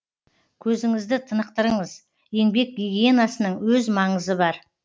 көзіңізді тынықтырыңыз еңбек гигиенасының өз маңызы бар